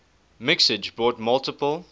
mixage brought multiple